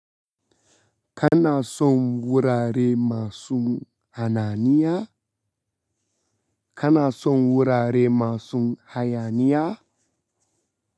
Kana son wurare masun hananiya? Kana son wurare masun hayaniya?